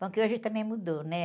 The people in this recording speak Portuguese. Bom, que hoje também mudou, né?